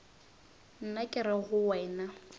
nna ke re go wena